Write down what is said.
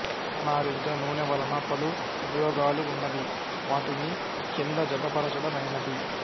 పుల్లనారింజ నూనె వలన పలు ఉపయోగాలువున్నవి వాటిని కింద జతపరచదమైనద్